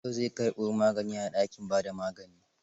Yau zai karbo maganin a dakin ba da magani.